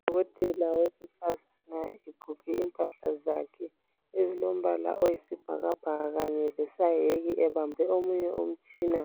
Udokotela wesifazane egqoke impahla zakhe ezilombala oyisibhakabhaka kanye lesayeke, ebambe omunye umtshina